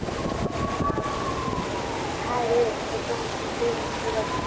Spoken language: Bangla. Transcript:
হ্যাঁ, রে সে তো হচ্ছেই বুঝতে পারছি।